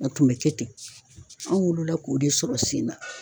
A tun bɛ kɛ ten, anw wolola k'o de sɔrɔ sen na.